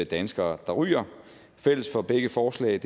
danskere der ryger fælles for begge forslag